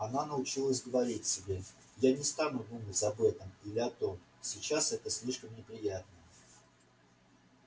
она научилась говорить себе я не стану думать об этом или о том сейчас это слишком неприятно